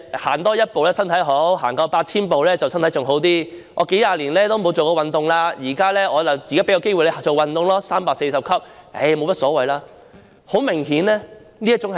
"多走一步身體好，多走 8,000 步身體便更好，我數十年都沒有做運動，現在便有一個做運動的機會 ，340 級樓梯沒甚麼大不了"。